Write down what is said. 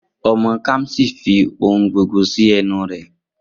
Omo Kamsi fi ohun gbogbo si enu re